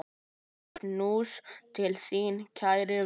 Knús til þín, kæri vinur.